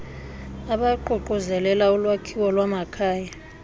abaququzelela ulwakhiwo lwamakhaya